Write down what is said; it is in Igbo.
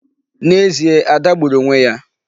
N'ezie, Ada gbùrù onwe ya.